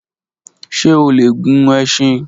Ṣe o le gun ẹṣin?